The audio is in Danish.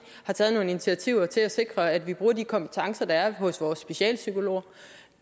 har taget nogle initiativer til at sikre at vi bruger de kompetencer der er hos vores specialpsykologer og